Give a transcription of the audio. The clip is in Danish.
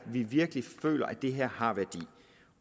vi virkelig føler at det her har værdi